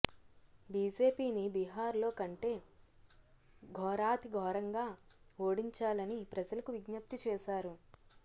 బీజేపీని బీహార్ లో కంటే ఘోరాతిఘోరంగా ఓడించాలని ప్రజలకు విజ్ఞప్తి చేశారు